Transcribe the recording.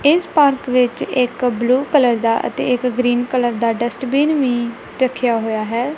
ਇਸ ਪਾਰਕ ਵਿੱਚ ਇੱਕ ਬਲੂ ਕਲਰ ਦਾ ਅਤੇ ਇੱਕ ਗ੍ਰੀਨ ਕਲਰ ਦਾ ਡਸਟਬਿਨ ਵੀ ਰੱਖਿਆ ਹੋਇਆ ਹੈ।